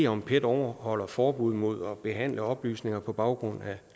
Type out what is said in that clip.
om pet overholder forbuddet mod at behandle oplysninger på baggrund af